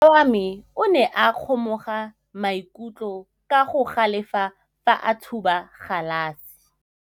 Morwa wa me o ne a kgomoga maikutlo ka go galefa fa a thuba galase.